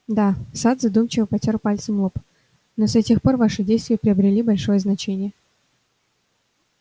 да сатт задумчиво потёр пальцем лоб но с этих пор ваши действия приобрели большое значение